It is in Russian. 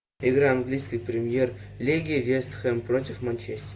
игра английской премьер лиги вест хэм против манчестер